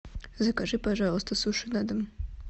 закажи пожалуйста суши на дом